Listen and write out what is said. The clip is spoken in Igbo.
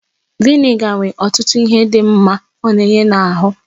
Vị́nịga nwere ọtụtụ ihe dị mma ọ na-enye n'ahụ